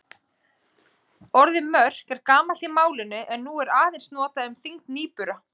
Orðið mörk er gamalt í málinu en er nú aðeins notað um þyngd nýbura.